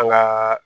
An gaa